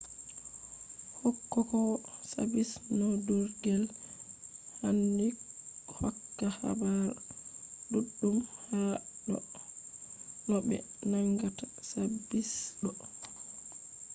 hokkowo sabis nondurgel handi hokka habar duddum hado no be nangata sabis ɗo